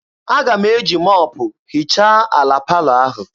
Aga m eji mọpụ hichaa ala palọ ahụ.